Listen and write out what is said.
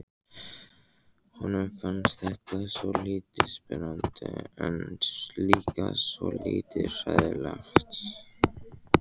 Honum fannst þetta svolítið spennandi en líka svolítið hræðilegt.